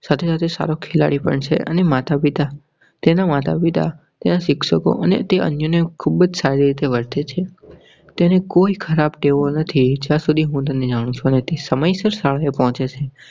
સાથે સાથે સારો ખેલાડી પણ છે અને માતાપિતા, તેના માતા, પિતા, શિક્ષકો અને તે અન્ય ખૂબ સારી રીતે વર્તે છે. તેને કોઈ ખરાબ તેવો નથી જ્યાં સુધી હું તેને જાણું છુ. તે સમયસર શાળા એ પોચે છે.